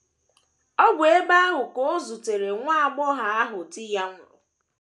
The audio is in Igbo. Ọ bụ ebe ahụ ka o zutere nwa agbọghọ ahụ di ya nwụrụ.